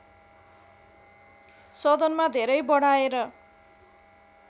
सदनमा धेरै बढाएर